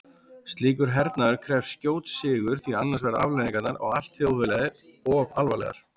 Slíkur hernaður krefst skjóts sigurs því annars verða afleiðingarnar á allt þjóðfélagið of alvarlegar.